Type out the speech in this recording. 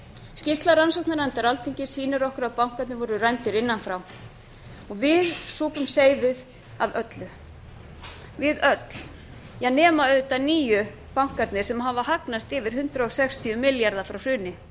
skýrsla rannsóknarnefndar alþingis sýnir okkur að bankarnir voru rændir innan frá og við súpum seyðið af öllu við öll nema auðvitað nýju bankarnir sem hafa hagnast yfir hundrað sextíu milljarða frá hruni